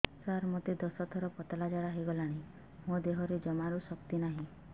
ସାର ମୋତେ ଦଶ ଥର ପତଳା ଝାଡା ହେଇଗଲାଣି ମୋ ଦେହରେ ଜମାରୁ ଶକ୍ତି ନାହିଁ